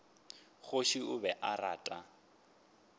kgoši o be a rata